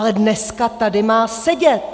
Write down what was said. Ale dneska tady má sedět!